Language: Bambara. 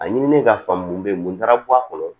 A ɲinilen ka faamu mun be mun taara bɔ a kɔnɔ